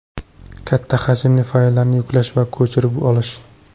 Katta hajmli fayllarni yuklash va ko‘chirib olish .